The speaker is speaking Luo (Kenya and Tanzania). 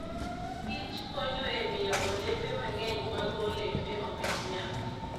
kichkonyo e miyo olembe mang'eny mag olembe omed nyak.